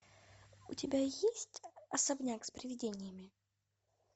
у тебя есть особняк с привидениями